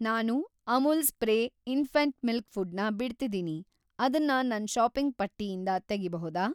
ನಾನು Amul spray infant milk food ನ ಬಿಡ್ತಿದೀನಿ, ಅದನ್ನ‌ ನನ್‌ ಷಾಪಿಂಗ್‌ ಪಟ್ಟಿಯಿಂದ ತೆಗಿಬಹುದಾ?